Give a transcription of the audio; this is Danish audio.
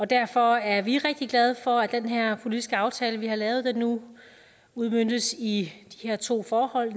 derfor er vi rigtig glade for at den her politiske aftale vi har lavet nu udmøntes i de her to forhold